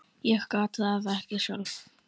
Ég gat það ekki sjálf.